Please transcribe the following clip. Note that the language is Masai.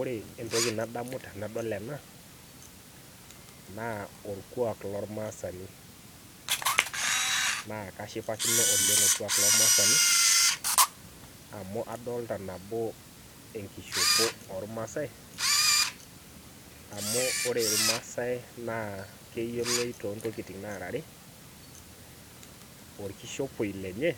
ore entoki nadamu tenadol ena naa olkuak lomaasani, naa kashipakino oleng olkuak lo maasani amu adoolta nabo enkishopo oo ilmaasai amu ore irmaasai naa keyioloi too intokitin naara are olkishopie lenye ,